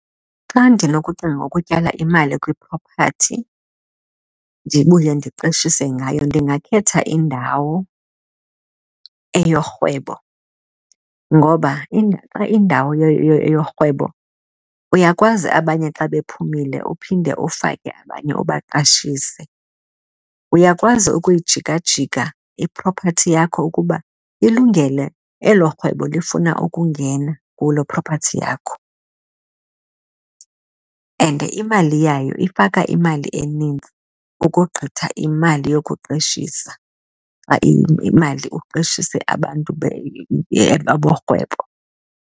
Xa ndinokucinga ukutyala imali kwi-property ndibuye ndiqeshise ngayo ndingakhetha indawo eyorhwebo. Ngoba xa indawo eyorhwebo uyakwazi abanye xa bephumile uphinde ufake abanye, ubaqashisele. Uyakwazi ukuyijika jika i-property yakho ukuba ilungele elorhwebo lifuna ukungena kuloo property yakho and imali yayo ifaka imali enintsi ukogqitha imali yokuqeshisa imali uqeshise abantu aborhwebo.